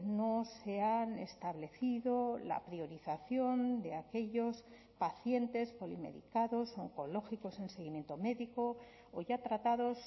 no se ha establecido la priorización de aquellos pacientes polimedicados oncológicos en seguimiento médico o ya tratados